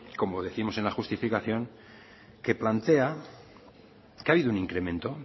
como décimos en la justificación que plantea que ha habido un incremento